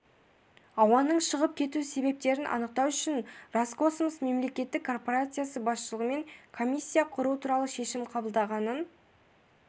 ауаның шығып кету себептерін анықтау үшін роскосмос мемлекеттік корпорациясы басшылығымен комиссия құру туралы шешім қабылдағанын